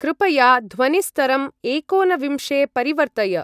कृपया ध्वनिस्तरम् एकोनविंशे परिवर्तय।